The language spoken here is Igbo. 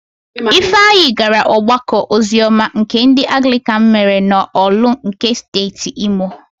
Ifeanyị gara ọgbakọ oziọma nke ndị Anglịkan mere n'Ọ̀lụ́ nke Steeti Imo.